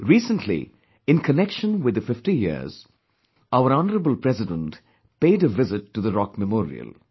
Recently, in connection with the 50 years, our Honourable President paid a visit to the Rock Memorial